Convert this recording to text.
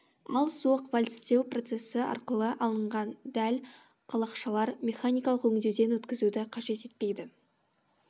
ал суық вальцтеу процесі арқылы алынған дәл қалақшалар механикалық өңдеуден өткізуді қажет етпейді